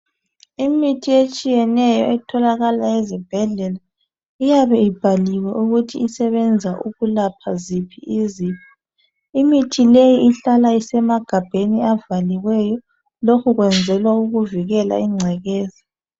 Imithi etshiyeneyo etholakala ezibhedlela uyabe ibhaliwe ukuthi isebenza ukulapha ziphi izifo. Imithi leyi ihlala isemagabheni abhaliweyo lokhu kwenzelwa ukuvikela ingcekeza.